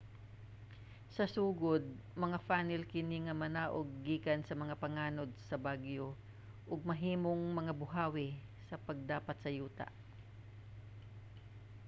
sa sugod mga funnel kini nga manaog gikan sa mga panganod sa bagyo ug mahimong mga buhawi sa pagdapat sa yuta